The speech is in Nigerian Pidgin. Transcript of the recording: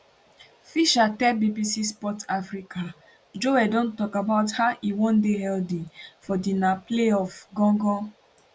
fisher tell bbc sport africa joel don tok about how e wan dey healthy for di na playoff gangan